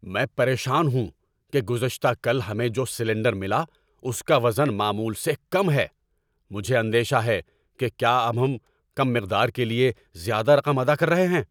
میں پریشان ہوں کہ گزشتہ کل ہمیں جو سلنڈر ملا اس کا وزن معمول سے کم ہے۔ مجھے اندیشہ ہے کہ کیا اب ہم کم مقدار کے لیے زیادہ رقم ادا کر رہے ہیں۔